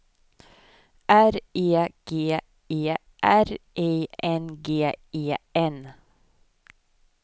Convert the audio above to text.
R E G E R I N G E N